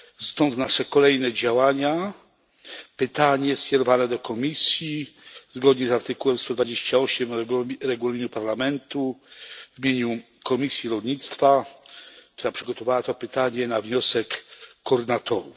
Stąd nasze kolejne działania pytanie skierowane do Komisji zgodnie z artykułem 128 Regulaminu Parlamentu w imieniu Komisji Rolnictwa, która przygotowała to pytanie na wniosek koordynatorów.